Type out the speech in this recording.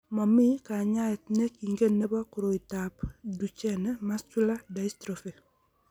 Momii kanyaet ne kengen nebo koroitoab Duchenne muscular dystrophy.